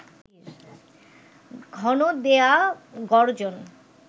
ঘন দেয়া গরজন